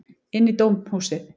Inn í dómhúsið.